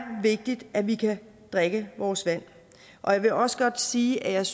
vigtigt at vi kan drikke vores vand og jeg vil også godt sige at jeg